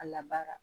A labaara